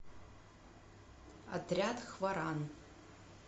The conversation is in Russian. отряд хваран